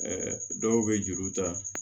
dɔw bɛ juru ta